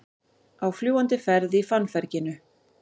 Á fljúgandi ferð í fannferginu